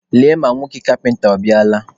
Lee ma nwoke kapịnta ọ bịala.